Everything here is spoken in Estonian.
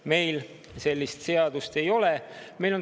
Meil sellist seadust ei ole.